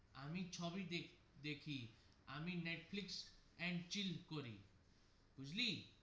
আমি সবই দে দেখি আমি নেটফ্লিক্স and chill করি বুজলি.